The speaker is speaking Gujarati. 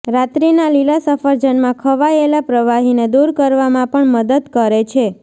રાત્રિના લીલા સફરજનમાં ખવાયેલા પ્રવાહીને દૂર કરવામાં પણ મદદ કરે છે